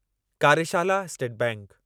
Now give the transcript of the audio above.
कार्यशाला स्टेट बैंकु